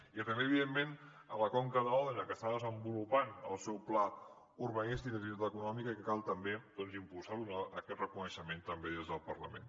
i també evidentment la conca d’òdena que està desenvolupant el seu pla urbanístic i d’activitat econòmica i cal també doncs impulsar aquest reconeixement també des del parlament